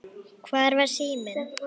Hvar var síminn?